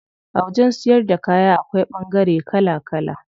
A wajen siyar da kaya akwai ɓangare kala kala.